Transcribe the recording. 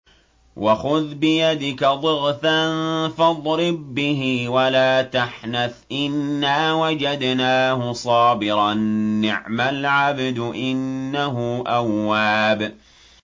وَخُذْ بِيَدِكَ ضِغْثًا فَاضْرِب بِّهِ وَلَا تَحْنَثْ ۗ إِنَّا وَجَدْنَاهُ صَابِرًا ۚ نِّعْمَ الْعَبْدُ ۖ إِنَّهُ أَوَّابٌ